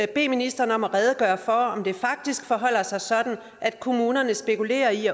bede ministeren om at redegøre for om det faktisk forholder sig sådan at kommunerne spekulerer i